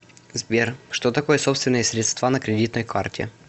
сбер что такое собственные средства на кредитной карте